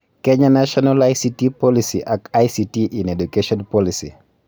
Kenya national ICT policy ak ICT in education policy